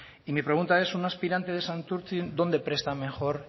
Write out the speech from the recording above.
y mi pregunta es un aspirante de santurtzi dónde presta mejor